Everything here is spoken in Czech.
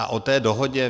A o té dohodě.